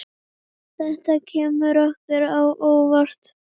Þetta kemur okkur á óvart.